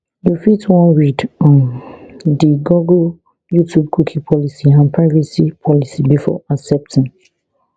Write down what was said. you fit wan read um di google youtubecookie policyandprivacy policybefore accepting